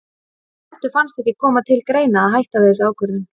En Eddu fannst ekki koma til greina að hætta við þessa ákvörðun.